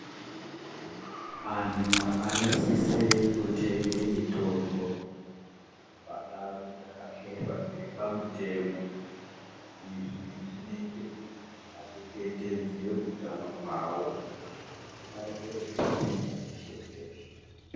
Anhu anosise kutenge mitombo pandawu dzakaketwa dziri pamutemo izvi zvinoite kuti achengetedze utano hwawo arekere kundotenga peshe peshe.